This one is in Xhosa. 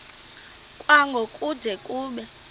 kwango kude kube